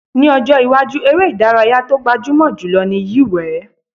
Ní ọjọ́ iwájú, eré ìdárayá tó gbajúmọ̀ jù lọ ni yíwèé